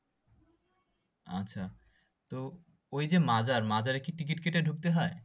আচ্ছা তো ওই যে মাজার মাজারে কি ticket কেটে ঢুকতে হয়?